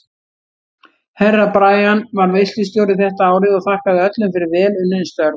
Herra Brian var veislustjóri þetta árið og þakkaði öllum fyrir vel unnin störf.